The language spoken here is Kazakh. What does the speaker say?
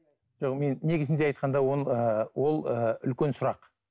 жоқ мен негізінде айтқанда оны ыыы ол ыыы үлкен сұрақ